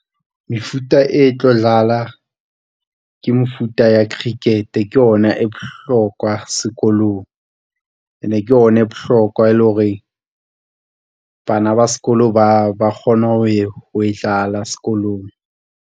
Mefuta e tlo dlala, ke mefuta ya cricket, ke ona e bohlokwa sekolong ene ke ona e bohlokwa e le hore bana ba sekolo ba kgone ho e dlala sekolong.